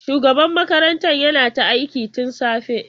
Shugaban makarantar yana ta aiki tun safe.